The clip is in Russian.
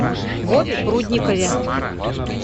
вове прудникове